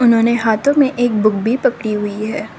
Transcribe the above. इन्होंने हाथों में एक बुक भी पकड़ी हुई है।